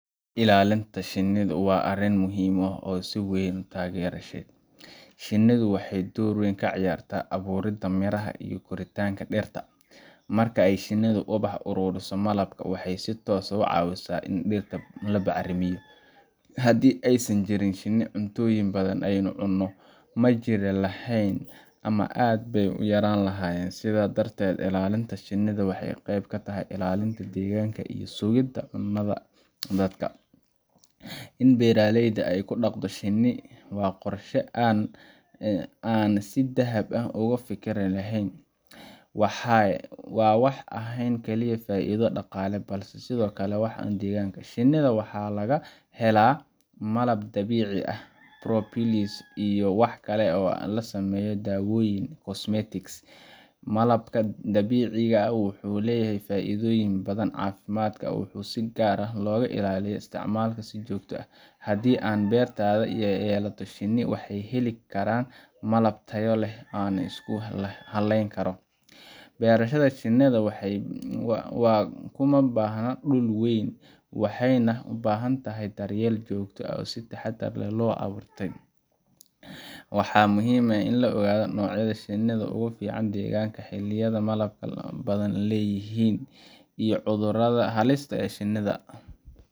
Ilaalinta shinnida waa arrin muhiim ah oo aan si weyn u taageersanahay. Shinnidu waxay door weyn ka ciyaartaa abuuridda miraha iyo koritaanka dhirta. Marka ay shinnidu ubaxa ka ururiso malabka, waxay si toos ah u caawisaa in dhirta la bacrimiyo. Haddii aysan jirin shinni, cuntooyin badan oo aynu cunno ma jiri lahayn ama aad bay u yaraan lahaayeen. Sidaa darteed, ilaalinta shinnida waxay qeyb ka tahay ilaalinta deegaanka iyo sugidda cunnada dadka. In beertayda aan ku dhaqdo shinni waa qorshe aan si dhab ah uga fikiray. Waa wax aan ahayn kaliya faa’iido dhaqaale, balse sidoo kale wax tar u leh deegaanka. Shinnida waxaa laga helaa malab dabiici ah, propolis, iyo wax kale oo laga sameeyo dawooyin iyo cosmetics. Malabka dabiiciga ah wuxuu leeyahay faa’iidooyin badan oo caafimaad, waxaana si gaar ah loogu taliya in la isticmaalo si joogto ah. Haddii aan beertayda ku yeelato shinni, waxaan heli karaa malab tayo leh oo aan isku haleyn karo. Beerashada shinnida kuma baahna dhul weyn, waxayna u baahan tahay daryeel joogto ah oo si xeel dheer loo bartay. Waxaa muhiim ah in la ogaado noocyada shinnida ugu fiican deegaanka, xilliyada ay malabka badan yihiin, iyo cudurrada halista ku ah shinnida.